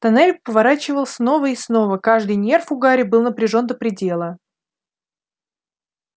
тоннель поворачивал снова и снова каждый нерв у гарри был напряжён до предела